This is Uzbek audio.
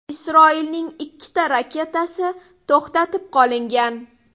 Isroilning ikkita raketasi to‘xtatib qolingan.